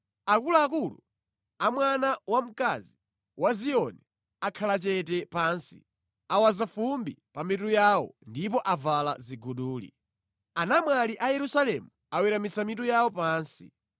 Akuluakulu a mwana wamkazi wa Ziyoni akhala chete pansi; awaza fumbi pa mitu yawo ndipo avala ziguduli. Anamwali a Yerusalemu aweramitsa mitu yawo pansi.